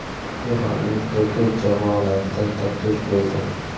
Eronning juda ko‘p jamoalaridan taklif bo‘ldi.